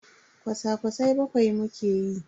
Kwasa-kwasai bakwai muke yi.